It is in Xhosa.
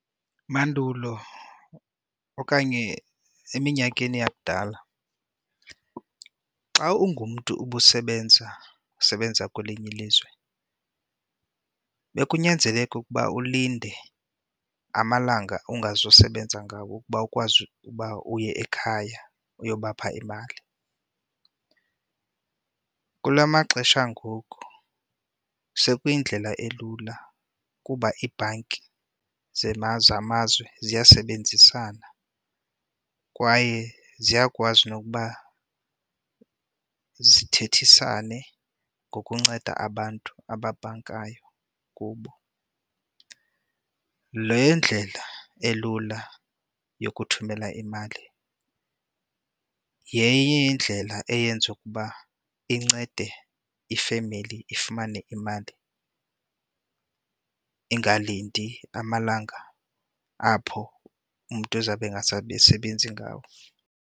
Mandulo okanye eminyakeni yakudala xa ungumntu ubusebenza, usebenza kwelinye ilizwe, bekunyanzeleka ukuba ulinde amalanga ongazusebenza ngawo ukuba ukwazi uba uye ekhaya uyobapha imali. Kula maxesha angoku sekuyindlela elula kuba ibhanki zamazwe ziyasebenzisana kwaye ziyakwazi nokuba zithethisane ngokunceda abantu ababhankayo kubo. Le ndlela elula yokuthumela imali yenye yeendlela eyenza ukuba incede ifemeli ifumane imali ingalindi amalanga apho umntu uzawube engasebenzi ngawo.